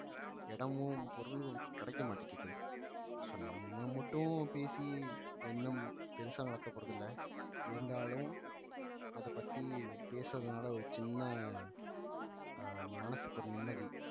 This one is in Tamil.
இடமும் பொருளும் கிடைக்க மாட்டேங்குது so நம்ம மட்டும் பேசி என்ன பெருசா நடக்க போறது இல்லை இருந்தாலும் அதை பத்தி பேசுறதுனால ஒரு சின்ன அஹ் மனசுக்கு ஒரு நிம்மதி